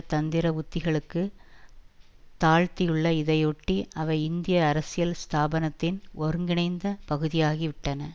தந்திர உத்திகளுக்கு தாழ்த்தியுள்ளன இதையொட்டி அவை இந்திய அரசியல் ஸ்தாபனத்தின் ஒருங்கிணைந்த பகுதியாகிவிட்டன